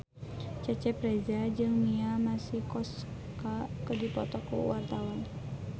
Cecep Reza jeung Mia Masikowska keur dipoto ku wartawan